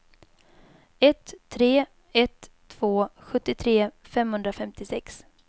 ett tre ett två sjuttiotre femhundrafemtiosex